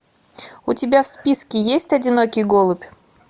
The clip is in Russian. у тебя в списке есть одинокий голубь